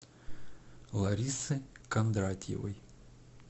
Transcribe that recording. ларисы кондратьевой